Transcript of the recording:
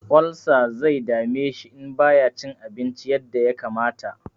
Olsa zai dame shi in ba ya cin abinci yadda ya kamata.